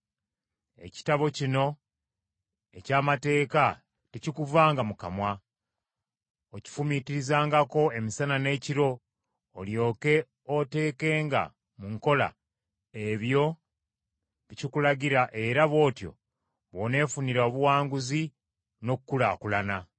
Ekitabo kino eky’amateeka tekikuvanga mu kamwa, okifumiitirizangako emisana n’ekiro olyoke oteekenga mu nkola ebyo bye kikulagira era bw’otyo bw’oneefunira obuwanguzi n’okukulaakulana.